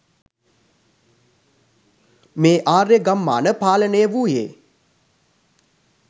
මේ ආර්ය ගම්මාන පාලනය වූයේ